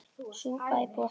Súpa í boði eftir messu.